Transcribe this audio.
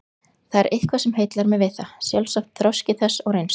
Það er eitthvað sem heillar mig við það, sjálfsagt þroski þess og reynsla.